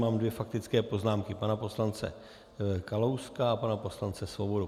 Mám dvě faktické poznámky - pana poslance Kalouska a pana poslance Svobody.